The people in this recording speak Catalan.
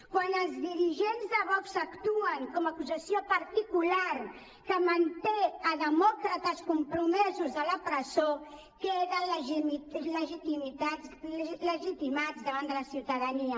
quan els dirigents de vox actuen com a acusació particular que manté demòcrates compromesos a la presó queden legitimats davant de la ciutadania